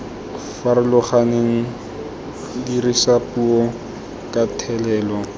farologaneng dirisa puo ka thelelo